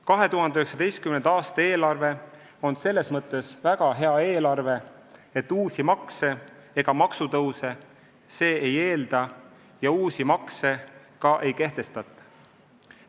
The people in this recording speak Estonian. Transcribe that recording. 2019. aasta eelarve on selles mõttes väga hea eelarve, et uusi makse ega maksutõuse see ei eelda ja uusi makse ka ei kehtestata.